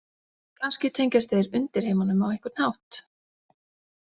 Kannski tengjast þeir undirheimunum á einhvern hátt.